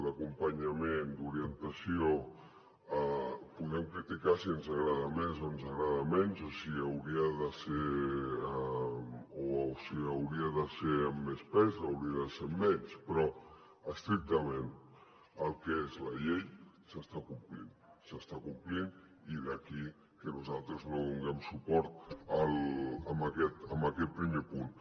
dd’orientació podem criticar si ens agrada més o ens agrada menys o si hauria de ser amb més pes o hauria de ser amb menys però estrictament el que és la llei s’està complint s’està complint i d’aquí que nosaltres no donem suport a aquest primer punt